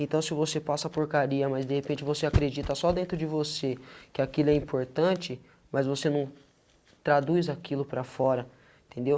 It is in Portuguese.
Então, se você passa porcaria, mas de repente você acredita só dentro de você que aquilo é importante, mas você não traduz aquilo para fora, entendeu?